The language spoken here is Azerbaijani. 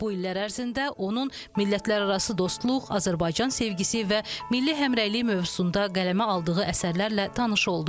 Bu illər ərzində onun millətlərarası dostluq, Azərbaycan sevgisi və milli həmrəylik mövzusunda qələmə aldığı əsərlərlə tanış olduq.